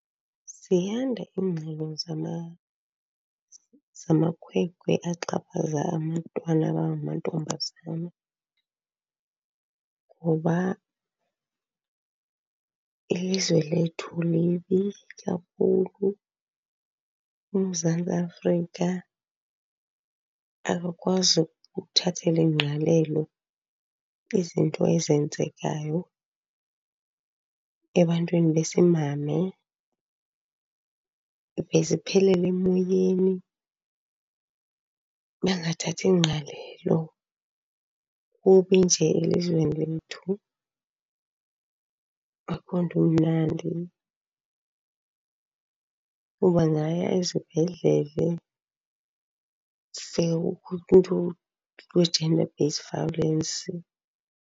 Ziyanda iingxelo zamamakhwenkwe axhaphaza abantwana abangamantombazane ngoba ilizwe lethu libi kakhulu. UMzantsi Afrika akakwazi ukuthathela ingqalelo izinto ezenzekayo ebantwini besimame, zive ziphelele emoyeni, bangathathi ngqalelo. Kubi nje elizweni lethu, akho nto imnandi. Ubangaya ezibhedlele uve umntu we-gender based violence.